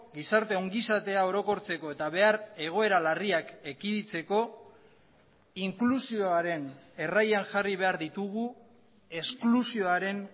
gizarte ongizatea orokortzeko eta behar egoera larriak ekiditeko inklusioaren erraian jarri behar ditugu esklusioaren